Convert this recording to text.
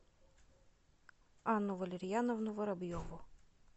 анну валерьяновну воробьеву